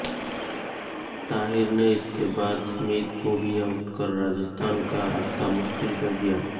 ताहिर ने इसके बाद स्मिथ को भी आउट कर राजस्थान का रास्ता मुश्किल कर दिया